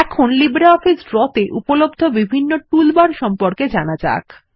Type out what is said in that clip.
এখন LibreOffice Draw তে উপলব্ধ বিভিন্ন টুলবার সম্পর্কে জানা যাক